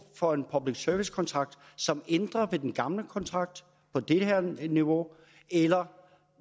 for en public service kontrakt som ændrer ved den gamle kontrakt på det her niveau eller